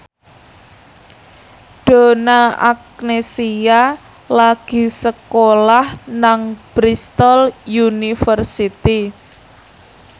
Donna Agnesia lagi sekolah nang Bristol university